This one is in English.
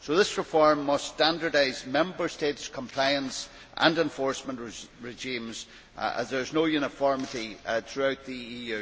This reform must standardise Member States' compliance and enforcement regimes, as there is no uniformity throughout the EU.